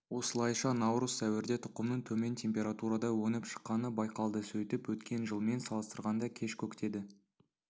осылайша наурыз сәуірде тұқымның төмен температурада өніп шыққаны байқалды сөйтіп өткен жылмен салыстырғанда кеш көктеді